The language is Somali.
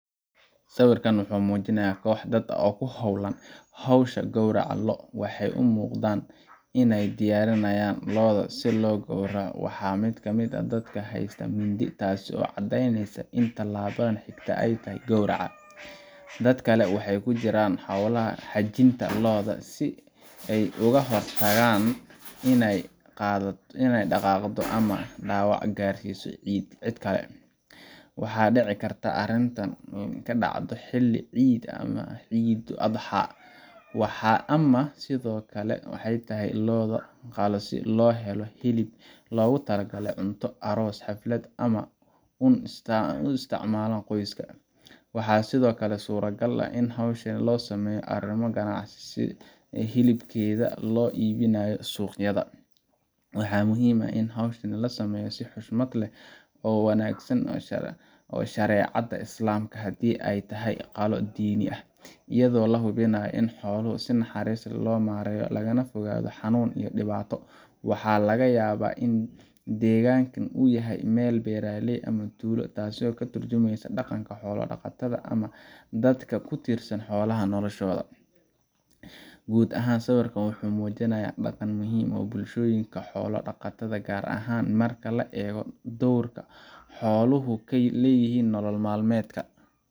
Sawirkan waxa uu muujinayaa koox dad ah oo ku hawlan hawsha gowraca lo'. Waxay u muuqdaan inay diyaarinayaan lo’da si loo gowraco, waxaana mid ka mid ah dadka haysta mindi taasoo caddeynaysa in tallaabada xigta ay tahay gowraca. Dadka kale waxay ku jiraan howsha xajinta lo’da si ay uga hortagaan inay dhaqaaqdo ama dhaawac gaarsiiso cid kale. Waxa dhici karta in arrintani ka dhacdo xilli ciid ah sida Ciidul-Adxaa, ama sidoo kale ay tahay lo’ la qalo si loo helo hilib loogu talagalay cunto, aroos, xaflad ama uun isticmaalka qoyska. Waxaa sidoo kale suuragal ah in howshan loo sameynayo arrimo ganacsi, sida lo’ hilibkeeda la iibinayo suuqyada. Waxaa muhiim ah in hawshan lagu sameeyo si xushmad leh oo waafaqsan shareecada Islaamka haddii ay tahay qalo diini ah, iyadoo la hubinayo in xoolaha si naxariis leh loo maareeyo lagana fogaado xanuun iyo dhibaato. Waxaa laga yaabaa in deegaanka uu yahay meel beeraley ah ama tuulo, taasoo ka tarjumaysa dhaqanka xoolo-dhaqatada ama dadka ku tiirsan xoolaha noloshooda. Guud ahaan, sawirku wuxuu muujinayaa dhaqan muhiim u ah bulshooyinka xoolo-dhaqatada ah, gaar ahaan marka la eego doorka xooluhu ku leeyihiin nolol maalmeedka